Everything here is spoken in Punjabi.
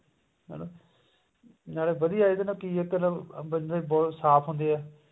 ਨਾਲੇ ਵਧੀਆ ਇਹਦੇ ਨਾਲ ਬੰਦੇ ਦੇ ਸਾਫ਼ ਹੁੰਦੇ ਆ